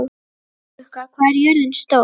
Bláklukka, hvað er jörðin stór?